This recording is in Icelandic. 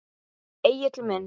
Egill minn.